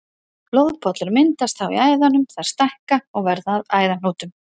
Blóðpollar myndast þá í æðunum, þær stækka og verða að æðahnútum.